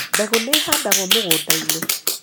Mbegũ nĩ ĩhandagwo mũgũnda-inĩ.